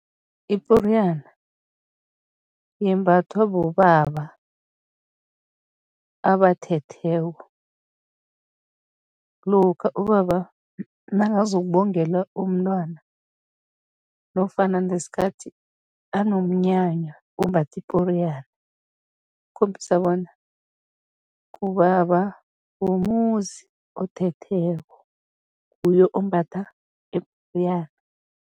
Iporiyana yembathwa bobaba abathetheko. Lokha ubaba nakazokubongela umntwana nofana ngesikhathi anomnyanya, umbatha iporiyana, ukukhombisa bona ngubaba womuzi othetheko, nguye ombatha iporiyana.